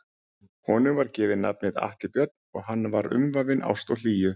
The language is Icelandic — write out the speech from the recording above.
Honum var gefið nafnið Atli Björn og hann var umvafinn ást og hlýju.